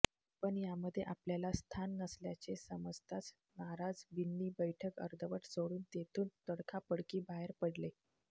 पण यामध्ये आपल्याला स्थान नसल्याचे समजताच नाराज बिन्नी बैठक अर्धवट सोडून तेथून तडकाफडकी बाहेर पडले